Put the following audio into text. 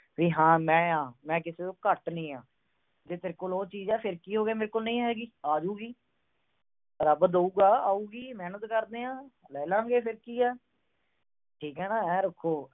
ਵੀ ਮੈਂ ਹਾਂ। ਮੈਂ ਕਿਸੇ ਤੋਂ ਘੱਟ ਨਹੀਂ ਆ। ਜੇ ਤੇਰੇ ਕੋਲ ਉਹ ਚੀਜ ਆ, ਫਿਰ ਕੀ ਹੋ ਗਿਆ, ਮੇਰੇ ਕੋਲ ਨਹੀਂ ਹੈਗੀ, ਆ ਜੂਗੀ। ਰੱਬ ਦਉਗਾ, ਆਉਗੀ, ਮਿਹਨਤ ਕਰਦੇ ਆ। ਲੈ ਲਾਗੇ। ਫਿਰ ਕੀ ਆ। ਠੀਕ ਆ ਨਾ। ਆਏ ਰੱਖੋ।